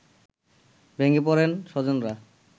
ভেঙে পড়েন স্বজনরা